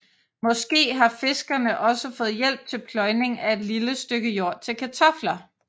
Måske har fiskerne også fået hjælp til pløjning af et lille stykke jord til kartofler